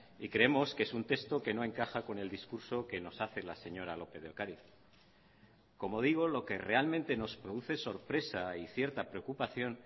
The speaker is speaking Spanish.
y creemos que es un texto que no encaja con el discurso que nos hace la señora lópez de ocariz como digo lo que realmente nos produce sorpresa y cierta preocupación